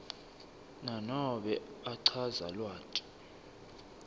nanobe achaza lwati